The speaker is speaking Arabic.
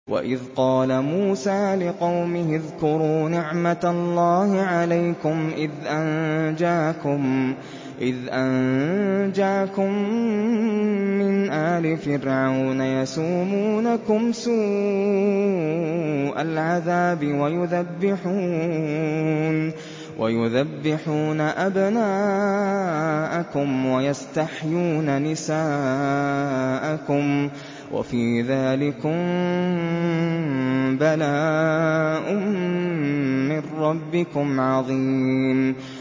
وَإِذْ قَالَ مُوسَىٰ لِقَوْمِهِ اذْكُرُوا نِعْمَةَ اللَّهِ عَلَيْكُمْ إِذْ أَنجَاكُم مِّنْ آلِ فِرْعَوْنَ يَسُومُونَكُمْ سُوءَ الْعَذَابِ وَيُذَبِّحُونَ أَبْنَاءَكُمْ وَيَسْتَحْيُونَ نِسَاءَكُمْ ۚ وَفِي ذَٰلِكُم بَلَاءٌ مِّن رَّبِّكُمْ عَظِيمٌ